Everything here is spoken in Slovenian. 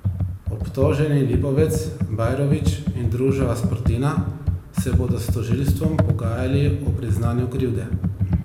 Obtoženi Lipovec, Bajrović in družba Sportina se bodo s tožilstvom pogajali o priznanju krivde.